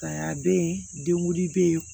Ka be yen denwuli be yen